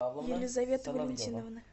елизаветы валентиновны